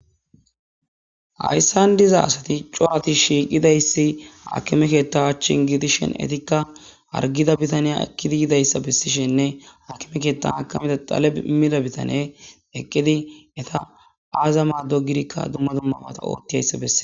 ayssan diza asati curati shiiqidayssi akime keetta achchin gidishen etikka argida bitaneya ekkida yidayssa bissishenne hakime keetta akameda tale imida bitane eqqidi eta aaza maaddo gidikka dumma dumma ata oottiayssa bessee